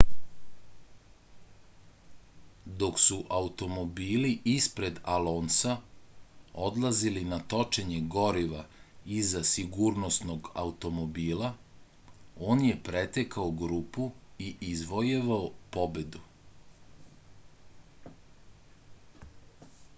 dok su automobili ispred alonsa odlazili na točenje goriva iza sigurnosnog automobila on je pretekao grupu i izvojevao pobedu